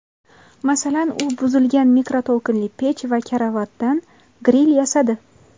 Masalan, u buzilgan mikroto‘lqinli pech va karavotdan gril yasadi.